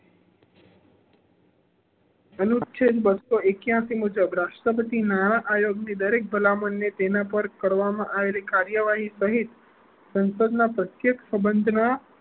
અનુચ્છેદ બસો એક્યાસી મુજબ રાષ્ટ્રપતિ નાણાકીય દરેક ભલામણ મુજબ તેના પર કરવામાં આવેલ કાર્યવાહી સંસદ ના પ્રત્યક્ષ સંબંધ ના